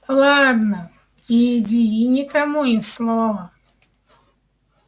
ладно иди и никому ни слова